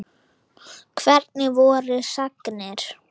Hvernig voru sagnir?